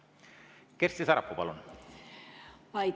Kersti Sarapuu, palun!